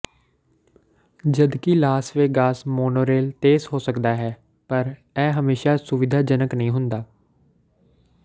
ਜਦਕਿ Las Vegas monorail ਤੇਜ਼ ਹੋ ਸਕਦਾ ਹੈ ਪਰ ਇਹ ਹਮੇਸ਼ਾ ਸੁਵਿਧਾਜਨਕ ਨਹੀਂ ਹੁੰਦਾ